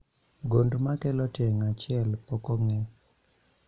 Gund makelo tieng' achiel pok ong'e